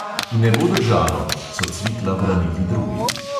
Ne bo držalo," so cvikla branili drugi.